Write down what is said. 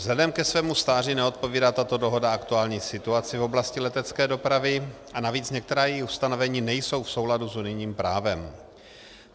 Vzhledem ke svému stáří neodpovídá tato dohoda aktuální situaci v oblasti letecké dopravy a navíc některá její ustanovení nejsou v souladu s unijním právem.